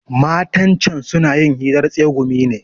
Matan can suna yin hirar tsegumi ne.